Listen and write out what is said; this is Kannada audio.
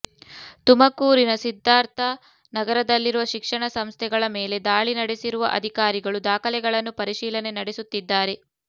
ತುಮಕೂರಿನ ಸಿದ್ಧಾರ್ಥ ನಗರದಲ್ಲಿರುವ ಶಿಕ್ಷಣ ಸಂಸ್ಥೆಗಳ ಮೇಲೆ ದಾಳಿ ನಡೆಸಿರುವ ಅಧಿಕಾರಿಗಳು ದಾಖಲೆಗಳನ್ನು ಪರಿಶೀಲನೆ ನಡೆಸುತ್ತಿದ್ದಾರೆ